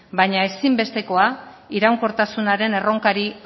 baina ezinbestekoa iraunkortasunaren erronkari